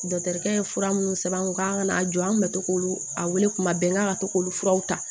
Dɔkitɛrikɛ ye fura minnu sɛbɛn an kun k'an kana jɔ an kun bɛ to k'olu a wele kuma bɛɛ n'a ka to k'olu furaw ta